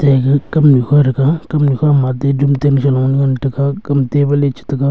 ega kamnu kha thaga kamnu kha ma bedroom tam chalo ngan taga kam table cha ngan taga.